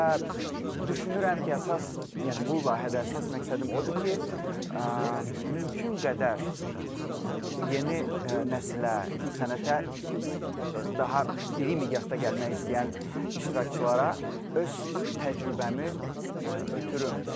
Və düşünürəm ki, əsas, yəni bu layihədə əsas məqsədim o odur ki, mümkün qədər bu yeni nəsilə, sənətə daha iri miqyasda gəlmək istəyən iştirakçılara öz təcrübəmi ötürüm.